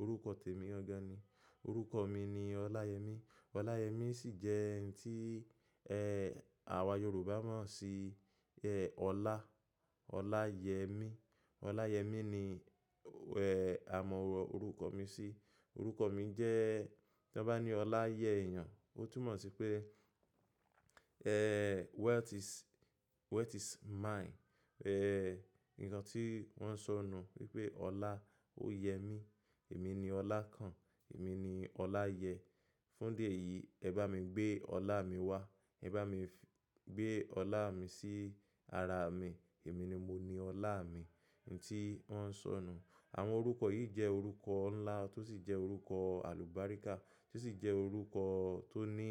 orúkọ tèmi gan ni. Orúkọ mi ni Ọláyẹmí. Ọláyẹmí sì jẹ́ ǹkan tí, ẹ́, àwa Yorùbá máa ń ṣì, ẹ́, ọlá, ọlá yẹ mí. Ọláyẹmí ni, ẹ́, a mọ orúkọ mi sí. Orúkọ mi jẹ́, tí wọ́n bá ní ọlá yẹ èèyàn, ó túmọ̀ sí pé, ẹ́, wealth is, wealth is mine. Ẹ́, ǹkan tí wọ́n ń sọ nu wípé ọlá ó yẹ mí. Èmi ni ọlá kan, èmi ni ọlá yẹ. Fún di èyí ẹ bá mi gbé ọlá mi wá. Ẹ bá mi gbé ọlá mi sí ara mi. Èmi ni mo ni ọlá mi. Ǹǹ tí wọ́n ń sọ nu. Àwọn orúkọ yìí jẹ́ orúkọ ńlá tó sì jẹ́ orúkọ àlùgbáríkà tó sì jẹ́ orúkọ tó ní,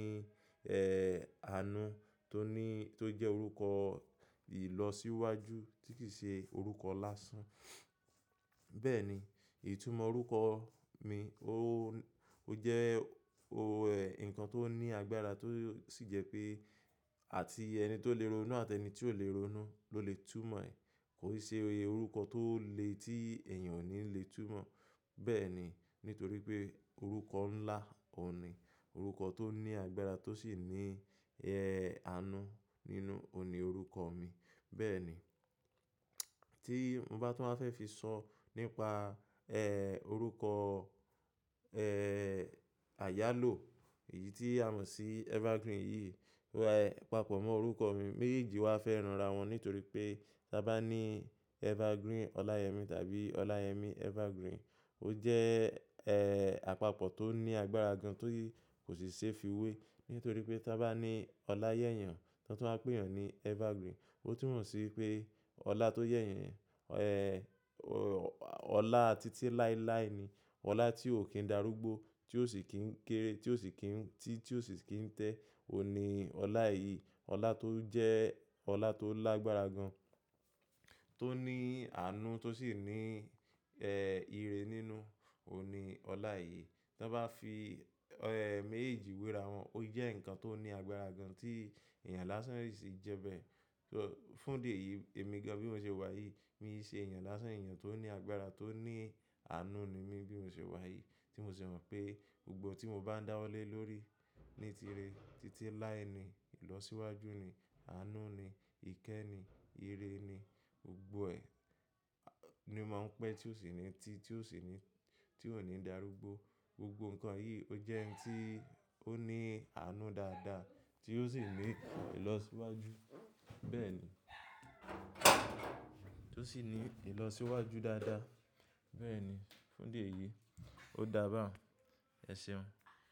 ẹ́, àánú tó ní, tó jẹ́ orúkọ ìlọsíwájú tí kì í ṣe orúkọ lásán. Bẹ́ẹ̀ni, ìtumọ̀ orúkọ mi ó, ó jẹ́, ó, ẹ́, ǹkan tó ní agbára tó sì jẹ́ pé àti ẹni tó lè ronú àti ẹni tí ò lè ronú ló lè túmọ̀ ẹ̀. Kò ṣe orúkọ tó le, tí èèyàn ò ní lè túmọ̀. Bẹ́ẹ̀ni, nítorí pé orúkọ ńlá ó ni. Orúkọ tó ní agbára tó sì ní, ẹ́, àánú nínú ó ni orúkọ mi. Bẹ́ẹ̀ni, tí mo bá tún máa fẹ́ fi sọ nípa, ẹ́, orúkọ, ẹ́, àyálò yìí tí a mọ̀ sí Evergreen yìí, àpọ̀ mọ́ orúkọ mi. Méjèèjì wa fẹ́ ránra wọn nítorí pé tí a bá ní Evergreen Ọláyẹmí tàbí Ọláyẹmí Evergreen, ó jẹ́, ẹ́, àpapọ̀ tó ní agbára gan tí kò ṣe é fiwé. Nítorí pé tí a bá ní Ọlá yẹ́ èèyàn, tí wọ́n bá pè èèyàn ní Evergreen, ó túmọ̀ sí pé ọlá tó yẹ́ èèyàn, ẹ́, ọlá títí láéláé ni. Ọlá tí ò kí n darúgbó, tí ò sì kí ń kéré, tí ò sì kí n, tí, tí ò sì kí ń tẹ́. Ó ni ọlá yìí. Ọlá tó jẹ́ ọlá tó lágbára gan, tó ní àánú tó sì ní, ẹ́, ìre nínú. Ó ni ọlá yìí. Tí wọ́n bá fi, ẹ́, méjèèjì wéra wọn, ó jẹ́ ǹkan tó ní agbára gan tí èèyàn lásán sì jẹ bẹ́ẹ̀. Fún di èyí èmi gan bí mo ṣe wà yìí, mi ṣe èèyàn lásán, èèyàn tó ní agbára tó ní àánú ni mí bí mo ṣe wà yìí. Tí mo ṣe mọ̀ pé gbogbo tí mo bá dáwọ́lé lórí ní ìtìre, títí láé ni, ìlọsíwájú ni, àánú ni, ìkẹ́ ni, ìre ni, gbogbo ẹ́ ni mó máa ń pẹ́ tí ò sì ní, tí, tí ò sì ní, tí ò ní darúgbó. Gbogbo ǹkan yìí ó jẹ́ ǹkan tí ó ní àánú dáadáa tí ó sì ní ìlọsíwájú. Bẹ́ẹ̀ni, tó sì ní ìlọsíwájú dáadáa. Bẹ́ẹ̀ni, fún di èyí ó dà bá. Ẹ ṣeun.